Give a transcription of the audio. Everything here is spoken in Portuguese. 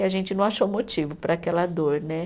E a gente não achou motivo para aquela dor, né?